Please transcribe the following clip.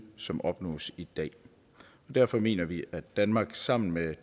som opnås i dag derfor mener vi at danmark sammen med